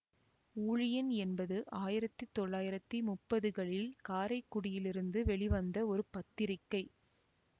ஊழியன் என்பது ஆயிரத்தி தொள்ளாயிரத்தி முப்பதுகளில் காரைக்குடியில் இருந்து வெளிவந்த ஒரு பத்திரிக்கை